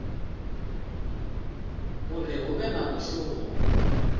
uri hu vhe na mushumo